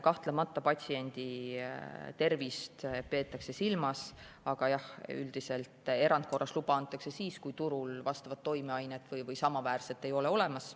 Kahtlemata patsiendi tervist peetakse silmas, aga jah, üldiselt erandkorras luba antakse siis, kui turul vajalikku toimeainet või samaväärset ravimit ei ole olemas.